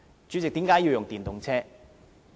主席，為何要使用電動車？